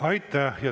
Aitäh!